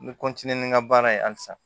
N bɛ ni n ka baara ye halisa